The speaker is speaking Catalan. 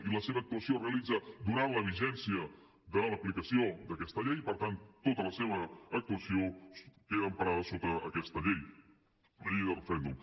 i la seva actuació es realitza durant la vigència de l’aplicació d’aquesta llei i per tant tota la seva actuació queda emparada sota aquesta llei la llei del referèndum